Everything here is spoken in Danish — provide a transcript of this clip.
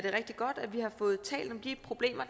er rigtig godt at vi har fået talt om de problemer